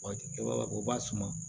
Waati o b'a suma